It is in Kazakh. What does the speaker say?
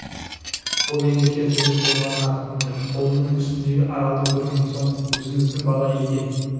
ол енді кер төбел құлынға қарғып мінді құлынының үстіндегі аралды көрген соң өзіміздің бала екен